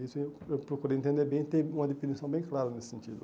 Isso eu eu procurei entender bem e ter uma definição bem clara nesse sentido.